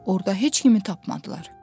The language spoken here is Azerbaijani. Orda heç kimi tapmadılar.